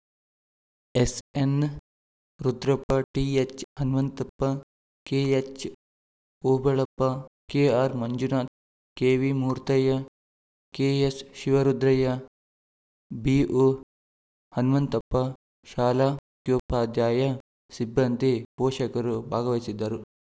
SN Rudrappa ಟಿಎಚ್‌ಹನುಮಂತಪ್ಪ ಕೆಎಚ್‌ಓಬಳಪ್ಪ ಕೆಆರ್‌ಮಂಜುನಾಥ್ ಕೆವಿಮೂರ್ತಯ್ಯ ಕೆಎಸ್‌ಶಿವರುದ್ರಯ್ಯ ಬಿಒಹನುಮಂತಪ್ಪ ಶಾಲಾ ಮುಖ್ಯೋಪಾಧ್ಯಾಯ ಸಿಬ್ಬಂದಿ ಪೋಷಕರು ಭಾಗವಹಿಸಿದ್ದರು